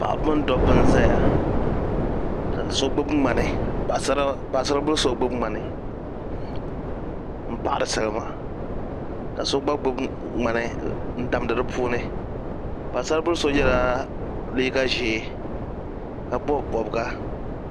Paɣaba mini dabba n ʒɛya ka so gbubi ŋmani paɣasari bili so gbubi ŋmani n paɣari salima ka so gba ŋmani n damdi di puuni paɣasari bili so yɛla liiga ʒiɛ ka bob bobga